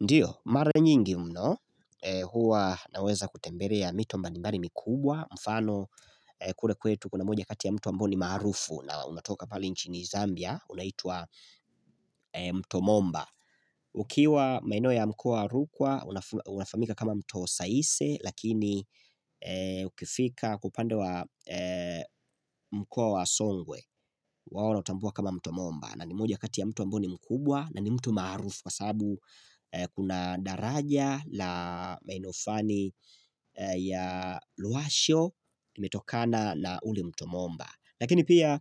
Ndiyo, mara nyingi mno, huwa naweza kutembelea mito mbalimbali mikubwa, mfano kule kwetu kuna moja kati ya mtu ambao ni maarufu na unatoka pale nchini Zambia, unaitwa mto momba. Ukiwa maeneo ya mkoa wa Rukwa unafahamika kama mto saise lakini ukifika kwa upande wa mkoa wa songwe wao wanautambua kama mto Momba na ni mmoja kati ya mto ambao ni mkubwa na ni mto maarufu Kwa sababu kuna daraja la maeneo filani ya Lwasho limetokana na ule mto Momba Lakini pia